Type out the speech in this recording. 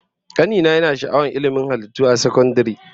Kani na yana sha'awar ilmin halittu a sakandare